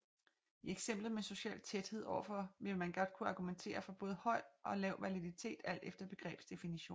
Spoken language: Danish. I eksemplet med social tæthed overfor vil man godt kunne argumentere for både høj og lav validitet alt efter begrebsdefinition